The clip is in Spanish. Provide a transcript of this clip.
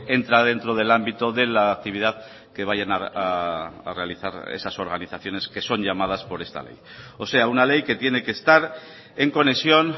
entra dentro del ámbito de la actividad que vayan a realizar esas organizaciones que son llamadas por esta ley o sea una ley que tiene que estar en conexión